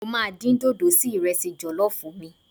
Mo máa dín dòdò sí ìrẹsì jọ̀lọ́.